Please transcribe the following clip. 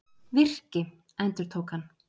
Virki, endurtók hann.